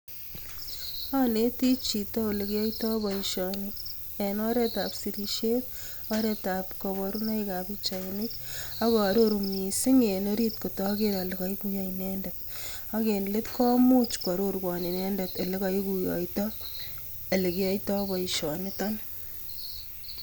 Onetii chito olekiyoito boishoni en oretab sirisiet, oreetab koborunoikab pichainik ak ororu mising en oriit kotoker olee koikuyo inendet, ak en leet komuch kwororwon inendet elekoikuyoito elekiyoito boishonito.